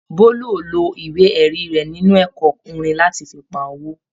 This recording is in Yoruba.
Bólú ò lo ìwé-ẹ̀rí rẹ̀ nínú ẹ̀kọ́ orin láti fi pa owó.